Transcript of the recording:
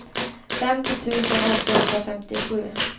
femtio tusen åttahundrafemtiosju